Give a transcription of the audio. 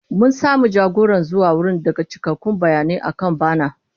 Mun samu jagora zuwa wurin daga cikakkun bayanai akan bana.